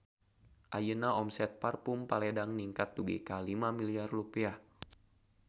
Ayeuna omset Parfume Paledang ningkat dugi ka 5 miliar rupiah